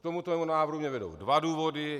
K tomuto návrhu mě vedou dva důvody.